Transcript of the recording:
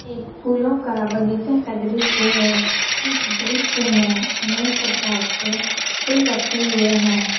एक फूलो के बगीचा का दृश्य है इस दृश्य में अनेक प्रकार के फूल रखे हुए है।